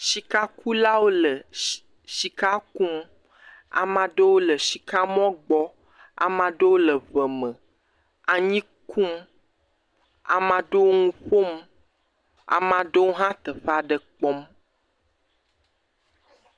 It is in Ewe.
Shikakulawo le shika kum. Ama ɖewo le shika mɔ gbɔ. Ama ɖewo le ŋe me anyi kum. Ama ɖewo nu ƒom. Ama ɖewo hã teƒa ɖe kpɔm.